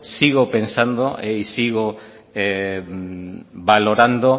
sigo pensando y sigo valorando